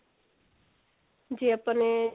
ਜੇ ਆਪਾਂ ਨੇ